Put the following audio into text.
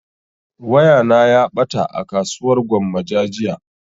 Waya na ya ɓata a kasuwar gwammaja jiya